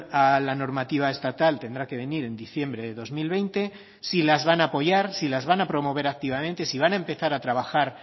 a la normativa estatal tendrá que venir en diciembre de dos mil veinte si las van a apoyar si las van a promover activamente si van a empezar a trabajar